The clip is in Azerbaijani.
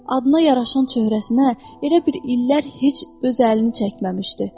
Adına yaraşan çöhrəsinə elə bil illər heç öz əlini çəkməmişdi.